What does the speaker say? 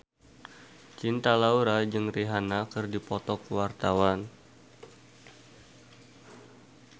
Cinta Laura jeung Rihanna keur dipoto ku wartawan